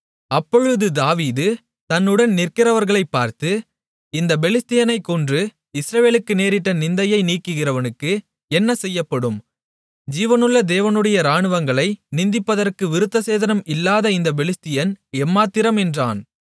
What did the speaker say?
அப்பொழுது தாவீது தன்னுடன் நிற்கிறவர்களைப் பார்த்து இந்தப் பெலிஸ்தியனைக் கொன்று இஸ்ரவேலுக்கு நேரிட்ட நிந்தையை நீக்குகிறவனுக்கு என்ன செய்யப்படும் ஜீவனுள்ள தேவனுடைய இராணுவங்களை நிந்திப்பதற்கு விருத்தசேதனம் இல்லாத இந்த பெலிஸ்தியன் எம்மாத்திரம் என்றான்